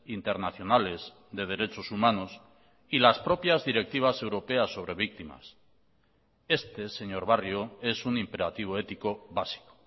internacionales de derechos humanos y las propias directivas europeas sobre víctimas este señor barrio es un imperativo ético básico